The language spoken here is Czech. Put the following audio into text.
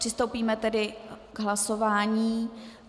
Přistoupíme tedy k hlasování.